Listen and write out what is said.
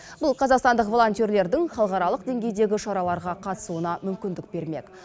бұл қазақстандық волонтерлердің халықаралық деңгейдегі шараларға қатысуына мүмкіндік бермек